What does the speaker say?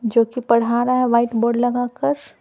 जो कि पढ़ा रहा है वाइट बोर्ड लगाकर--